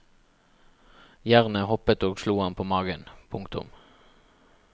Jernet hoppet og slo ham på magen. punktum